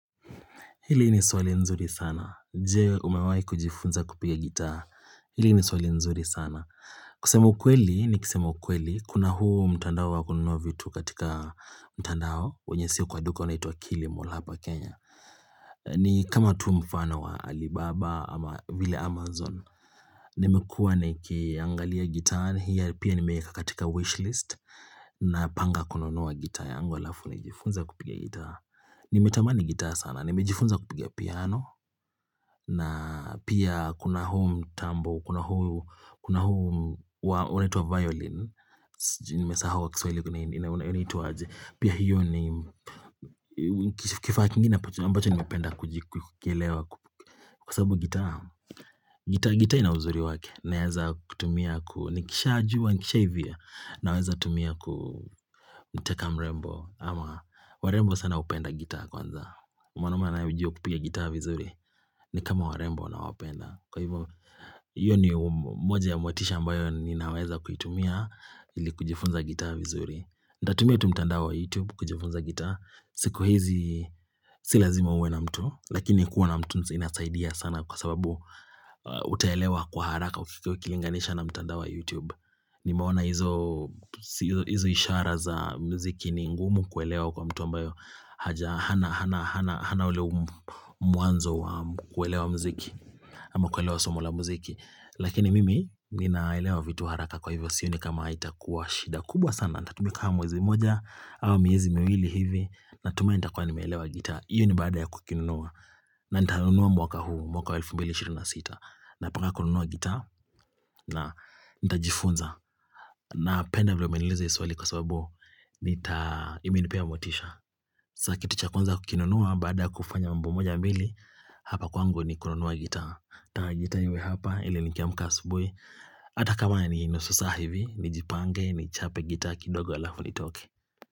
Hili ni swali nzuri sana. Je, umewahi kujifunza kupiga gitaa. Hili ni swali nzuri sana. Kusema ukweli, nikisema ukweli. Kuna huu mtandao wa kunanua vitu katika mtandao. Wenye sio kwa duka wenye unaitwa kilimall hapa Kenya. Ni kama tu mfano wa Alibaba ama vile Amazon. Nimekua nikiangalia gitaa, hiyo pia nimeeka katika wishlist. Napanga kununua gitaa yangu alafu. Nijifunze kupiga gitaa. Nimetamani gitaa sana. Nimejifunza kupiga piano. Na pia kuna huu mtambo, kuna huu, kuna huu, unaitwa violin, nimesahau kwa kiswahili unaitwa aje. Pia hiyo ni, kifaa kingine ambacho nimependa kujikielewa kwa sababu gitaa. Gitaa gitaa ina uzuri wake, naeza kutumia ku, nikishaajua, nikishahivia, naweza tumia kuniteka mrembo. Ama, warembo sana upenda gitaa kwanza. Mwanume anaye ujio wa kupiga gitaa vizuri ni kama warembo wanawapenda Kwa hivo hiyo ni moja ya motisha ambayo Ninaweza kuitumia ili kujifunza gitaa vizuri nitatumia tu mtandao wa youtube kujifunza gitaa siku hizi Si lazima uwe na mtu Lakini kuwa na mtu inasaidia sana Kwa sababu Utaelewa kwa haraka Ukikilinganisha na mtandao wa youtube Nimeona hizo hizi ishara za mziki ni ngumu kuelewa kwa mtu mbayo haja hana hana Hana ule mwanzo wa kuelewa muziki ama kuelewa somo la muziki, Lakini mimi ninaelewa vitu haraka kwa hivyo sioni kama itakuwa shida kubwa sana, nitatumia kaa mwezi mmoja ama miezi miwili hivi natumai nitakuwa nimeelewa gitaa hiyo ni baada ya kukinunua na nitanunua mwaka huu mwaka 2026 Napanga kununua gitaa na nitajifunza napenda vila umeniliuza hiyo swali kwa sababu Nita imenipea motisha saa kitu cha kwanza ukukinunua baada kufanya wimbo moja mbili Hapa kwangu ni kununua gitaa gitaa iwe hapa ili nikiamka asubuhi Ata kama ni nusu saa hivi nijipange ni chape gitaa kidogo alafu nitoke.